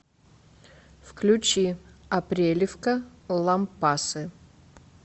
включи апрелевка лампасы